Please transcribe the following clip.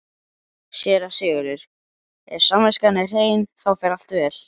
SÉRA SIGURÐUR: Ef samviskan er hrein, þá fer allt vel.